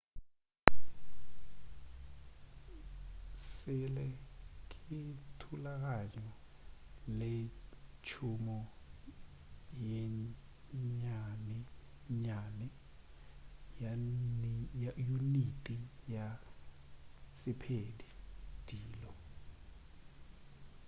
sele ke thulaganyo le tšhomo ye nnyanennyane ya uniti ya sephedi dilo